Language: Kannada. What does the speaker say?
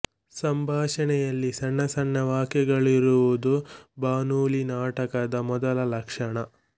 ಸಂಭಾಷಣೆಯಲ್ಲಿ ಸಣ್ಣ ಸಣ್ಣ ವಾಕ್ಯಗಳಿರುವುದು ಬಾನುಲಿ ನಾಟಕದ ಮೊದಲ ಲಕ್ಷಣ